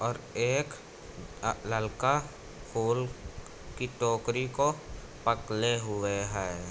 और एक अ ललका फोल की टोकरी को पकड़े हुए हैं।